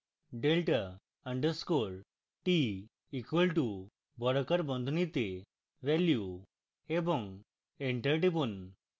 delta underscore t equal to বর্গাকার বন্ধনীতে value এবং enter টিপুন